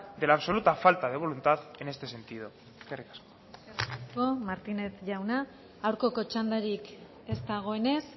de la absoluta falta de voluntad en este sentido eskerrik asko eskerrik asko martínez jauna aurkako txandarik ez dagoenez